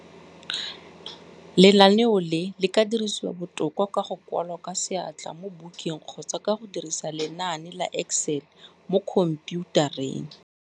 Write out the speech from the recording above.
Lenaneo le le ka dirisiwa botoka ka go kwala ka seatla mo bukeng kgotsa ka go dirisa lenane la Excel mo khompiutareng.